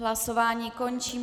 Hlasování končím.